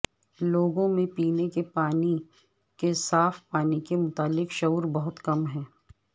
لوگوں میں پینے کے صاف پانی کے متعلق شعور بہت کم ہے